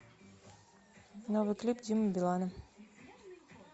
новый клип димы билана